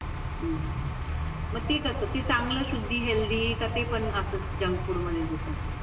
हम्म मग ती कसं ते चांगलं शुद्धी हेल्दी का ते पण असंच जंक फुड मध्ये तो.